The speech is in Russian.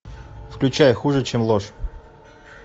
включай хуже чем ложь